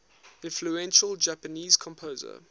influential japanese composer